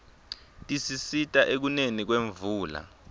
tisisita ekuneni kwemvula